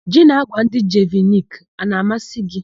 Ji na àgwà ndị Jeviniki a na-amasị gị?